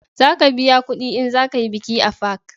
Za ka biya kudi in za ka yi biki a fak